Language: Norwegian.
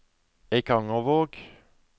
Eikangervåg